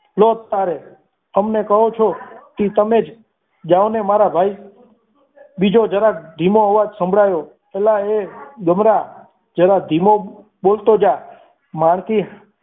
તો જ તારે અમને કહો છો કે તમે જ જાવ ને મારા ભાઈ બીજો જરાક ધીમો અવાજ સંભળાયો અલ્યા એ ગમરા જરા ધીમો બોલતો જા મારાથી